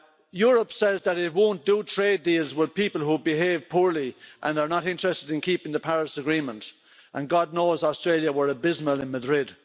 Europe says that it won't do trade deals with people who behave poorly and are not interested in keeping the Paris Agreement, and God knows, Australia were abysmal in Madrid.